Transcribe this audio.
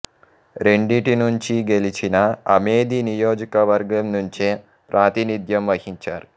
రెండిటి నుంచీ గెలిచినా అమేధీ నియోజకవర్గం నుంచే ప్రాతినిధ్యం వహించారు